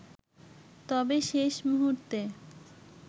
তবে শেষ মুহুর্তে